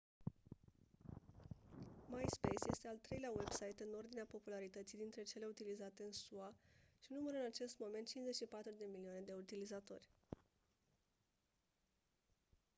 myspace este al treilea website în ordinea popularității dintre cele utilizate în sua și numără în acest moment 54 de milioane de utilizatori